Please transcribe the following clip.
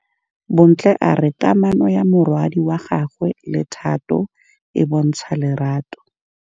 Bontle a re kamanô ya morwadi wa gagwe le Thato e bontsha lerato.